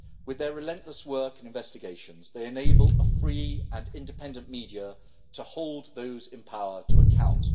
With their relentless work and investigations they enable a free and independent media to hold those in power to account.